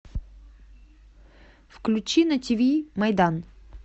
включи на тв майдан